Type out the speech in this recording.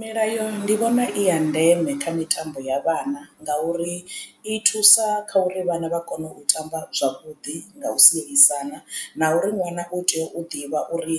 Milayo ndi vhona i ya ndeme kha mitambo ya vhana ngauri i thusa kha uri vhana vha kone u tamba zwavhuḓi nga u sielisana na uri ṅwana u tea u ḓivha uri